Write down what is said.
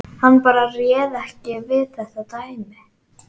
Hann bara réð ekki við þetta dæmi.